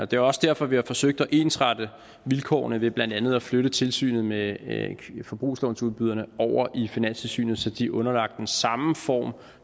det er også derfor vi har forsøgt at ensrette vilkårene ved blandt andet at flytte tilsynet med forbrugslånsudbyderne over i finanstilsynet så de er underlagt den samme form